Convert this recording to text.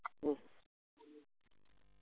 ഉം